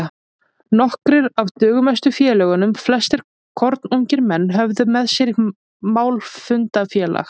Nokkrir af dugmestu félögunum, flestir kornungir menn, höfðu með sér málfundafélag